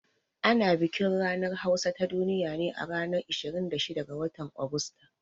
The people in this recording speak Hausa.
Ana bikin ranar hausa ta duniya ne a ranar 26 ga watan Agusta